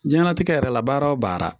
Diɲɛnnatigɛ yɛrɛ la baara o baara